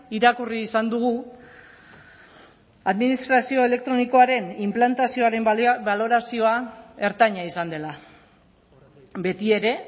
irakurri izan dugu administrazio elektronikoaren inplantazioaren balorazioa ertaina izan dela betiere